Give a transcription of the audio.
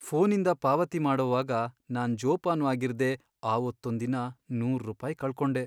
ಫೋನಿಂದ ಪಾವತಿ ಮಾಡೋವಾಗ ನಾನ್ ಜೋಪಾನ್ವಾಗಿರ್ದೇ, ಅವತ್ತೊಂದಿನ ನೂರ್ ರೂಪಾಯ್ ಕಳ್ಕೊಂಡೆ.